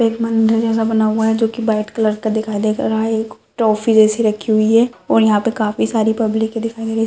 एक मंदिर जैसा बना हुआ है जो की वाइट कलर का दिखाई दे रहा है एक ट्रॉफी जैसी रखी हुई है और यहाँ पे काफी सारी पब्लिक दिख रही है।